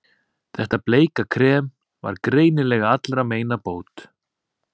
Þetta bleika krem var greinilega allra meina bót.